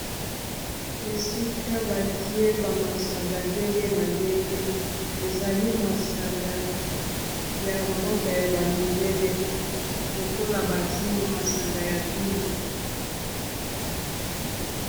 esika batie bamasanga ndenge na ndenge ezali masanga ya mboka ya bamindele lokola bavino masanga ya vino